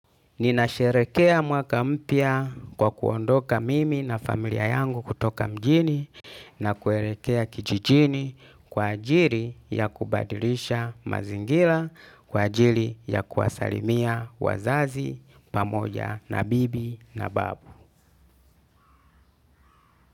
Ninasherehekea mwaka mpya kwa kuondoka mimi na familia yangu kutoka mjini na kuelekea kijijini kwa ajili ya kubadilisha mazingira kwa ajili ya kuwasalimia wazazi pamoja na bibi na babu.